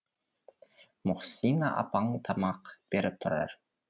мұхсина апаң тамақ беріп тұрар